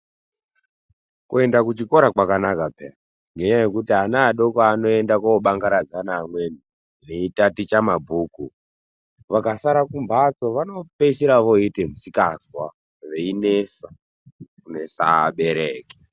Kuenda kuchikora kwakanaka paani ngenyaya yekuti ana adoko anoenda kobangaradza neamweni veitaticha mabhuku vakasara kumbatso vanopeisira voite musikanzwa veinesa kunesa vabereki.